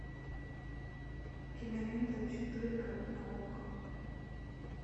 кинолента четырка на окко